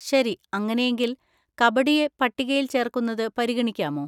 ശരി, അങ്ങനെയെങ്കിൽ, കബഡിയെ പട്ടികയിൽ ചേർക്കുന്നത് പരിഗണിക്കാമോ?